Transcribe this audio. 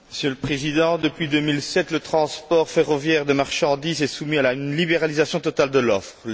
Monsieur le Président, depuis 2007, le transport ferroviaire des marchandises est soumis à une libéralisation totale de l'offre.